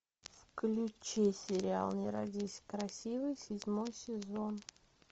включи сериал не родись красивой седьмой сезон